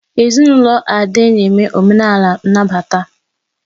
Ezinụlọ Ade na-eme omenala nnabata.